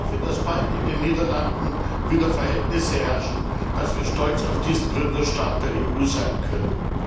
Ich hoffe, dass in den Niederlanden bald wieder Verhältnisse herrschen, dass wir stolz auf diesen Gründerstaat der EU sein können.